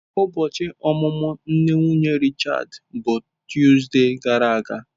Ụbọchi ọmụmụ nne nwunye Richards bụ Tuzdee gara aga.